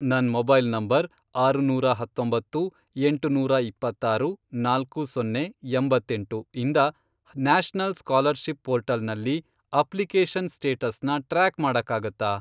ನನ್ mobile number, ಆರುನೂರಾ ಹತ್ತೊಂಬತ್ತು ,ಎಂಟುನೂರಾ ಇಪ್ಪತ್ತಾರು, ನಾಲ್ಕು ಸೊನ್ನೆ, ಎಂಬತ್ತೆಂಟು, ಇಂದ ನ್ಯಾಷನಲ್ ಸ್ಕಾಲರ್ಷಿಪ್ ಪೋರ್ಟಲ್ನಲ್ಲಿ ಅಪ್ಲಿಕೇಷನ್ ಸ್ಟೇಟಸ್ನ ಟ್ರ್ಯಾಕ್ ಮಾಡಕ್ಕಾಗತ್ತಾ?